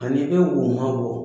Ani i bɛ woman bɔ